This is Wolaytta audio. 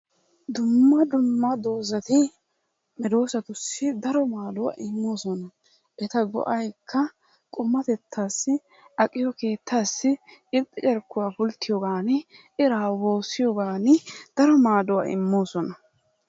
Dumma dumma doozati medoosatussi daro maaduwa immoosona. Eta go'aykka qumatettaassi, aqiyo keettaassi irxca carkkuwa pulttiyogaani iraa woossiyogaani daro maaduwa immoosona.